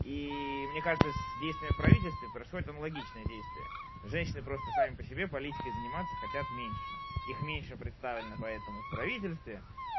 и мне кажется с действиями правительстве происходит аналогичное действие женщины просто сами по себе политикой заниматься хотят меньше их меньше представлено поэтому в правительстве